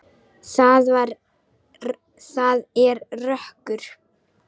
Það er rökkur.